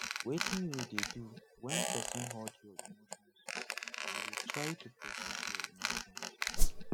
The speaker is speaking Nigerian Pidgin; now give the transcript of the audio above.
wetin you dey do when person hurt you emotions you dey try to process your emotions